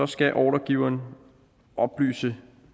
skal ordregiveren oplyse